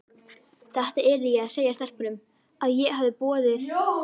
Þetta yrði ég að segja stelpunum, að ég hefði boðið